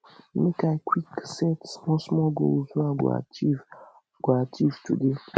make i quick set smallsmall goals wey i go achieve i go achieve today